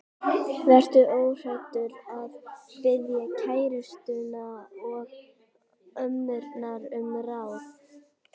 Vertu óhræddur við að biðja kærustuna og ömmurnar um ráð.